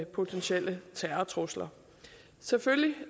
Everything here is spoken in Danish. potentielle terrortrusler selvfølgelig